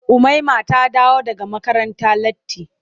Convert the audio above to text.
Umaima ta dawo daga makaranta latti.